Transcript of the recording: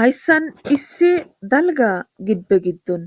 hayssan issi dalga gibbe giddon